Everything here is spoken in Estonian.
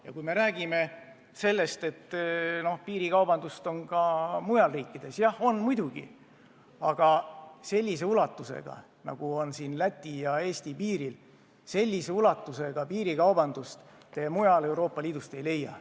Ja kui me räägime sellest, et piirikaubandust on ka mujal riikides – jah, on muidugi, aga sellise ulatusega piirikaubandust, nagu on Läti ja Eesti piiril, te mujalt Euroopa Liidust ei leia.